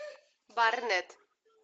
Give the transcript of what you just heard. барнетт